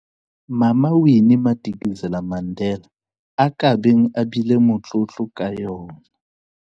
Mama Winnie Madikizela-Mandela a ka beng a bile motlotlo ka yona.